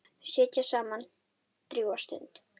Þau sitja saman drjúga stund.